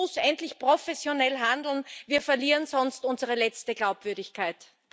Die EU muss endlich professionell handeln, wir verlieren sonst unsere letzte Glaubwürdigkeit.